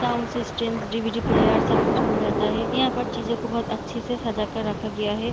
Sound system DVD. Player सब कुछ मिल जाता है यहाँ पर चीजों को बहुत अच्छे से सजाकर रखा गया है।